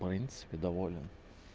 в принципе доволен